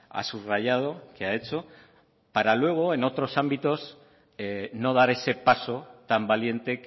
ha subrayado que ha hecho para luego en otros ámbitos no dar ese paso tan valiente